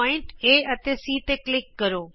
ਬਿੰਦੂ A ਅਤੇ C ਤੇ ਕਲਿਕ ਕਰੋ